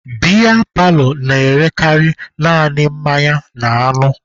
Biya paalọ na-erekarị naanị mmanya na anụ